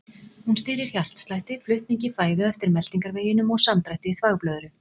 Hún stýrir hjartslætti, flutningi fæðu eftir meltingarveginum og samdrætti þvagblöðru.